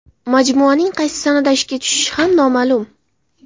Majmuaning qaysi sanada ishga tushishi ham noma’lum.